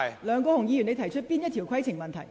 梁國雄議員，你有甚麼規程問題？